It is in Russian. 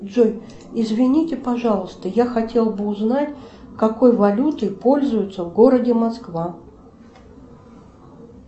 джой извините пожалуйста я хотела бы узнать какой валютой пользуются в городе москва